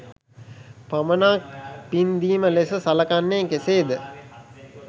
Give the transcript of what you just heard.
පමණක් පින්දීම ලෙස සලකන්නේ කෙසේද?